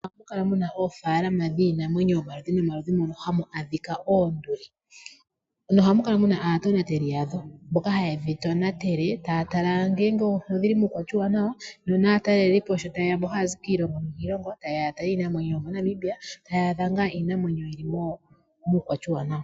Ohamu kala mu na oofaalama dhiinamwenyo omaludhi nomaludhi hamu adhika oonduli. Ohamu kala mu na aatonateli yadho mboka haye dhi tonatele taya tala ngele odhi li muukwatya uuwanawa, opo naatalelipo mboka haye ya taya zi kiilongo nilongo taye ya ya tale iinamwenyo yomoNamibia taya adha iinamwenyo yi li muukwatya uuwanawa.